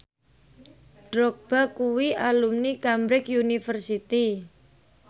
Drogba kuwi alumni Cambridge University